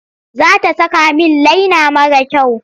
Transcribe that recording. Za ta saka min laina mara kyau.